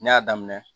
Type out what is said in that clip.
Ne y'a daminɛ